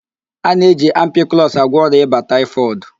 A na-eji ampiklọs agwọ ọrịa ịba taịfọdụ.